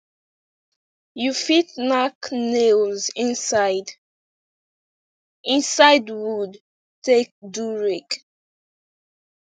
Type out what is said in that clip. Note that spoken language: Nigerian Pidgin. you fit nack nails inside inside wood take do rake